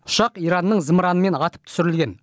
ұшақ иранның зымыранымен атып түсірілген